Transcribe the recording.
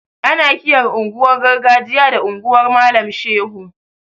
Ana kiran unguwar gargajiya da unguwar malam shehu